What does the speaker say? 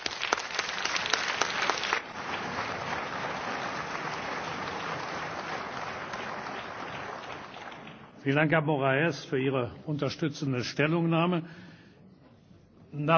Vielen Dank, Herr Moraes, für Ihre unterstützende Stellungnahme! Nach unseren Verfahrensregeln kann ich jetzt einem Abgeordneten das Wort geben, der für diesen Antrag und den Vorschlag von mir und Herrn Moraes